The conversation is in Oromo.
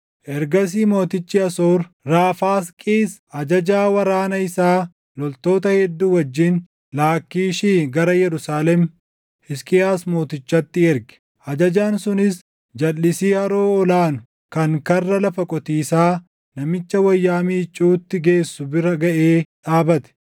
Ergasii mootichi Asoor, Raafaasqiis ajajaa waraana isaa loltoota hedduu wajjin Laakkiishii gara Yerusaalem, Hisqiyaas mootichatti erge. Ajajaan sunis jalʼisii Haroo Ol aanu kan karra Lafa Qotiisaa Namicha Wayyaa Miicuutti geessu bira gaʼee dhaabate;